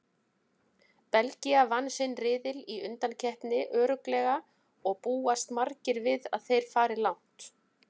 Belgía vann sinn riðil í undankeppninni örugglega og búast margir við að þeir fari langt.